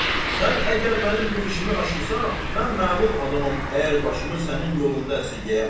sən əgər mənim bu işimi aşırırsan, mən məlum adamam, əgər başımı sənin yolunda əsirgəyəm.